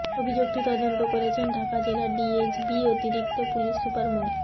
অভিযোগটি তদন্ত করছেন ঢাকা জেলা ডিএজবি অতিরিক্ত পুলিশ সুপার মো